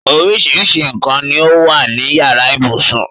Oríṣiríṣi nǹkan ni ó wà ní yàrá ibùsùn.